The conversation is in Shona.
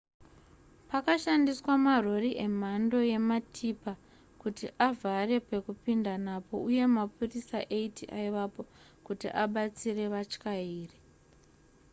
pakashandiswa marori emhando yematipa kuti avhare pekupinda napo uye mapurisa 80 aivapo kuti abatsire vatyairi